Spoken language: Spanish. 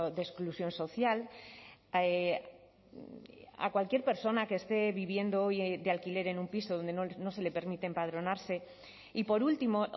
de exclusión social a cualquier persona que esté viviendo hoy de alquiler en un piso donde no se le permite empadronarse y por último